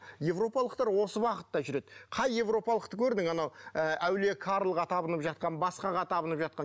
европалықтар осы уақытта жүреді қай европалықты көрдің анау ы әулие карлға табынып жатқан басқаға табынып жатқан